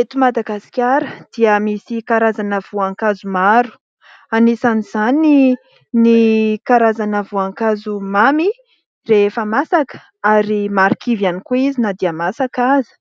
Eto Madagasikara dia misy karazana voankazo maro ; anisan'izany ny karazana voankazo mamy rehefa masaka ary marikivy ihany koa izy na dia masaka aza.